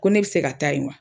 Ko ne bi se ka taa yen wa?